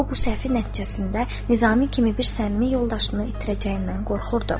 O bu səhvi nəticəsində Nizami kimi bir səmimi yoldaşını itirəcəyindən qorxurdu.